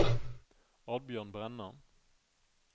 Oddbjørn Brenna